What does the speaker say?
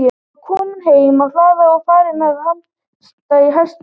Hann var kominn heim á hlað og farinn að hamast í hestunum.